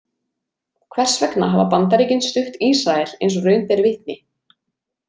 Hvers vegna hafa Bandaríkin stutt Ísrael eins og raun ber vitni.